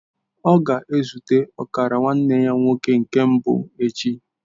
Ọ ga-ezute ọkara nwanne ya nwoke nke mbụ echi.